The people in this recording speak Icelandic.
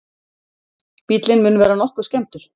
Bíllinn mun vera nokkuð skemmdur